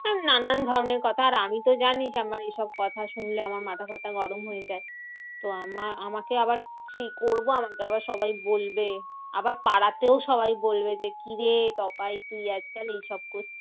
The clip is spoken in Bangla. নানান ধরণের কথা আর আমিতো জানি যে আমার এসব কথা শুনলে আমার মাথা ফাতা গরম হয়ে যায়। তো আমার আমাকে আবার সেই করবো আমাকে আবার সবাই বলবে। আবার পাড়াতেও সবাই বলবে যে কিরে টোপাই তুই আজকাল এইসব করছিস?